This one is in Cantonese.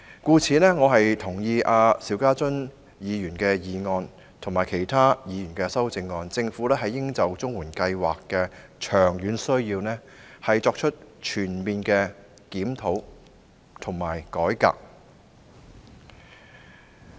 因此，我贊同邵家臻議員的議案及其他議員的修正案，認為政府應就綜援計劃的長遠需要作出全面檢討和改革。